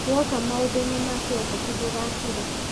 Wooka maũndũ-inĩ ma kĩũteti ndũgakire